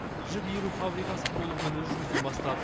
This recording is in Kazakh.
жіп иіру фабрикасы толығымен өз жұмысын бастады